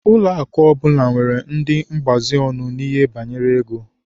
Ụlọakụ ọbụla nwere ndị mgbaziọnụ n'ihe banyere ego.